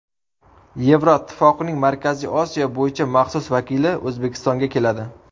Yevroittifoqning Markaziy Osiyo bo‘yicha maxsus vakili O‘zbekistonga keladi.